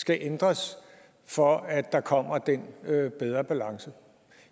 skal ændres for at der kommer den bedre balance